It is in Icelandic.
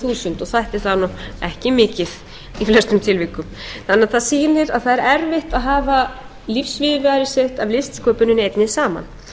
þúsund og þætti það nú ekki mikið í flestum tilvikum það náttúrlega sýnir að það er erfitt að hafa lífsviðurværi sitt af listsköpuninni einni saman öll viljum við